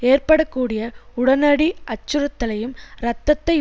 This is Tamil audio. ஏற்பட கூடிய உடனடி அச்சுறுத்தலையும் இரத்தத்தை